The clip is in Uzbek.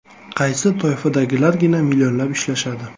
Qaysi toifadagilargina millionlab ishlashadi?